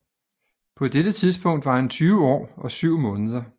På dette tidspunkt var han 20 år og 7 måneder